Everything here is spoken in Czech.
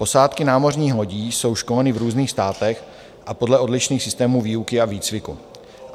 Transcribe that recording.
Posádky námořních lodí jsou školeny v různých státech a podle odlišných systémů výuky a výcviku.